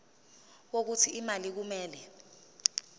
wokuthi imali kumele